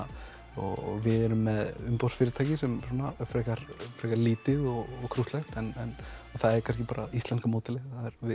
og við erum með umboðsfyrirtæki sem er frekar lítið og krúttlegt en það er kannski bara íslenska módelið